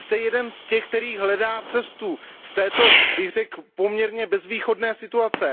Vy jste jeden z těch, který hledá cestu z této, bych řekl, poměrně bezvýchodné situace.